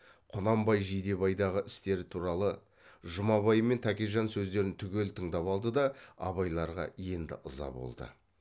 құнанбай жидебайдағы істер туралы жұмабай мен тәкежан сөздерін түгел тыңдап алды да абайларға енді ыза болды